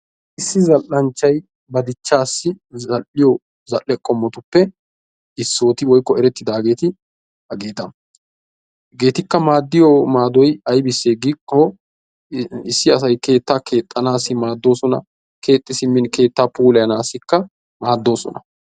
Issi zalla"nchchayi ba dichchaassi zall"iyo zall"e qommotuppe issooti woykko erettidaageeti hageeta. Hageetikka maaddiyo maadoyi aybissee giikkoo issi asayi keettaa keexxanaassi maaddoosona keexxi simmin keettaa puulayanaássikka maaddoosona.